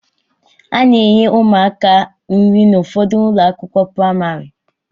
A na-enye ụmụaka nri n'ụfọdụ ụlọakwụkwọ pramarị